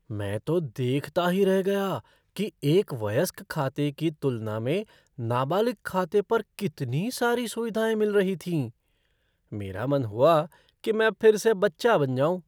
मैं तो देखता ही रह गया कि एक वयस्क खाते की तुलना में नाबालिग खाते पर कितनी सारी सुविधाएँ मिल रही थीं। मेरा मन हुआ कि मैं फिर से बच्चा बन जाऊँ।